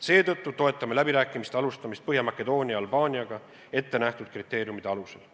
Seetõttu toetame läbirääkimiste alustamist Põhja-Makedoonia ja Albaaniaga ette antud kriteeriumide alusel.